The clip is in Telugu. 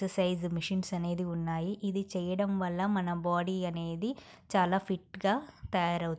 పెద్ద సైజు మెషీన్స్ అనేవి ఉన్నాయి .ఇది చెయ్యడం వల్ల మన బాడీ అనేది చాలా ఫిట్ గా తయారవుతుంది.